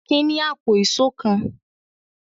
Akin ní àpò ìṣó kan.